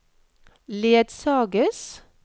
ledsages